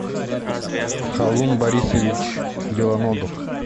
халун борисович белоногов